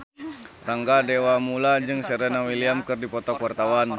Rangga Dewamoela jeung Serena Williams keur dipoto ku wartawan